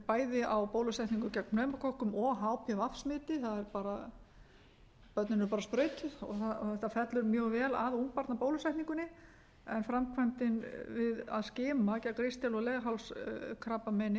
bæði á bólusetningu gegn pneumókokkum og hpv smiti börnin eru bara sprautuð og þetta fellur mjög vel að ungbarnabólusetningunni en framkvæmdin við að skima gegn ristil og